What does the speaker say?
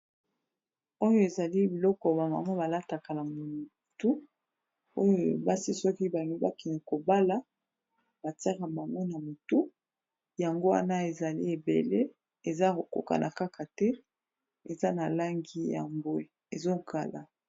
Oyo ezali biloko bamamo balataka na motu oyo basi soki balingi bakende kobala batiyaka bango na motu yango wana ezali ebele eza kokokana kaka te! eza na langi ya mbwe ezokala.